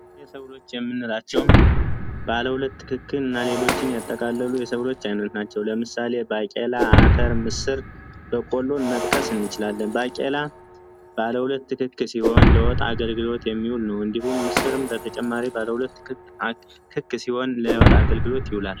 የሰው ልጅ የምንላቸውም ትክክል እና ሌሎችን ያጠቃልሉ የሰው አይነካቸው ለምሳሌ ምስር በቆሎ መጥቀስ እንችላለን ትክክል ሲሆን ለወጣ አገልግሎት የሚሆን ነው እንዲሁም ምስርም ተጨማሪ አገልግሎት ይውላል።